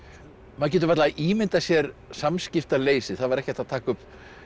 maður getur varla ímyndað sér samskiptaleysið það var ekki hægt að taka upp